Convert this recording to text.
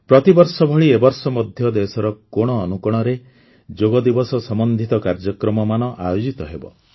ପ୍ରତିବର୍ଷ ଭଳି ଏ ବର୍ଷ ମଧ୍ୟ ଦେଶର କୋଣ ଅନୁକୋଣରେ ଯୋଗଦିବସ ସମ୍ବନ୍ଧିତ କାର୍ଯ୍ୟକ୍ରମମାନ ଆୟୋଜିତ ହେବ